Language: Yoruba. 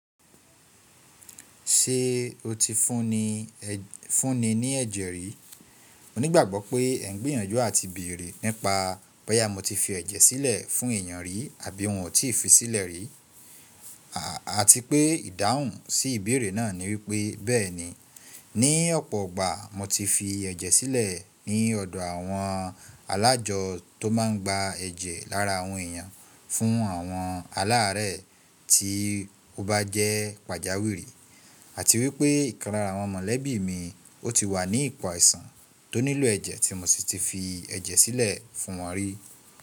Ṣé o ti fúnni ní ẹ̀jẹ̀ rí? Mo nígbàgbọ́ pé ẹ ń gbìyànjú à ti bèèrè nípa bóyá mo ti fi ẹ̀jẹ̀ sílẹ̀ fún èèyàn rí àbí n ò tí fi sílẹ̀ rí, àti pé ìdáhùn sí ìbéèrè náà ni wípé bẹ́ẹ̀ni, ní ọ̀pọ̀ igbà mo ti fi ẹ̀jẹ̀ sílẹ̀ ní ọ̀dọ̀ àwọn alájọ tó máa ń gba ẹ̀jẹ̀ lára àwọn èèyàn fún àwọn aláàárẹ̀ tí ó bá jẹ́ pàjáwìrì àti wípé ìkan lára àwọn mọ̀lẹ́bí mi ó ti wà ní ipò aìsàn tó nílò ẹ̀jẹ̀ tí mo sì ti fi ẹ̀jẹ̀ sílẹ̀ fún wọn rí.